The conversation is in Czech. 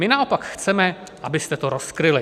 My naopak chceme, abyste to rozkryli.